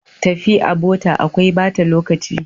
Tafi a bota akwai bata lokaci.